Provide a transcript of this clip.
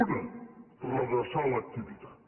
una redreçar l’activitat